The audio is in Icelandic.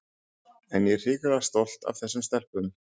En ég er hrikalega stolt af þessum stelpum.